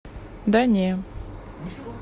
да не